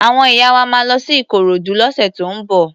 Àwọn ìyá wa máa lọ sí Ikorodu lọ́sẹ̀ tó ń bọ̀.